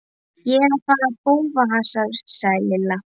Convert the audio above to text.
Ég er að fara í bófahasar sagði Lilla.